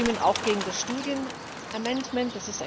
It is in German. Wir stimmen auch gegen das Studien Amendment.